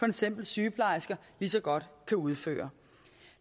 eksempel sygeplejersker lige så godt kan udføre